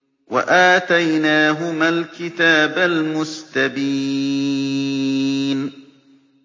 وَآتَيْنَاهُمَا الْكِتَابَ الْمُسْتَبِينَ